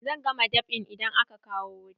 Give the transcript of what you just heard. Zan gama dab'in idan aka kawo wuta.